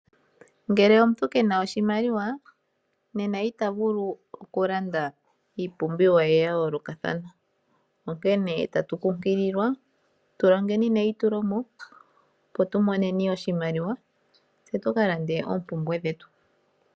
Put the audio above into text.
Ngele omuntu kena oshimaliwa nena omuntu ita vulu oku landa iipumbiwa ye ya yooloka thana, onkene tatu kunkililwa tulonge neyi tulomo opo tumoneni oshimaliwa tse tu kalande oompumbwe dhetu.